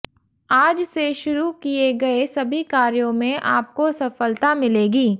आज से शुरू किए गए सभी कार्यों में आपको सफलता मिलेगी